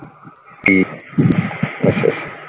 ਠੀਕ ਆ ਅੱਛਾ ਅੱਛਾ।